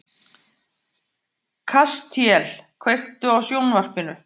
Kastíel, kveiktu á sjónvarpinu.